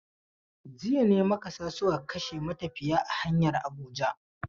Jiya ne makasa suka kashe matafiya a hanyar Abuja.